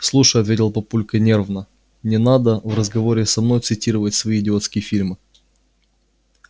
слушай ответил папулька нервно не надо в разговоре со мной цитировать свои идиотские фильмы